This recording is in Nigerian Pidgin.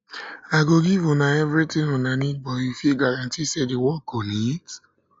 i go give una everything una need but you fit guarantee say the work go neat